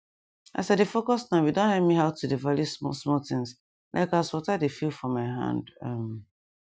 as i dey focus nowe don help me halt to dey value small small things like as water dey feel for my hand um